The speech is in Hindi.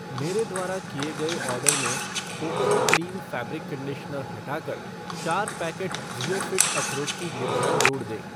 मेरे द्वारा किए गए ऑर्डर में कोपरो क्लीन फ़ैब्रिक कंडीशनर हटाकर चार पैकेट ज़िओफ़ीट अखरोट की गिरियाँ जोड़ दें